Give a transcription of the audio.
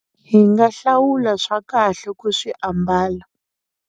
Hi nga hlawula swa kahle ku swi ambala.